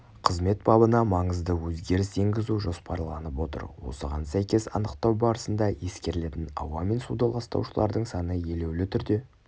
қызмет бабына маңызды өзгеріс енгізу жоспарланып отыр осыған сәйкес анықтау барысында ескерілетін ауа мен суды ластаушылардың саны елеулі түрде